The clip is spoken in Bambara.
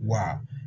Wa